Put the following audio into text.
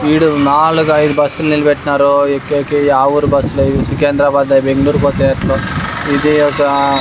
ఈడా నాలుగు ఐదు బస్సు లు నిలపెట్టినారు ఎక్కేకి యా ఊరు బస్సు లో ఇవి సికింద్రాబాద్ బెంగుళూరు పోతాయి ఏట్లో ఇది ఒక --